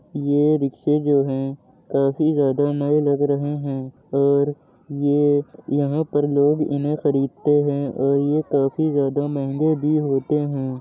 ये रिक्शा जो है काफी जादा नए लग रहे है और ये यहाँ पर लोग उन्हे खरीदते हैं और ये काफी जादा महंगे भी होते हैं।